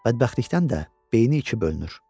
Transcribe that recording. Bədbəxtlikdən də beyni iki bölünür.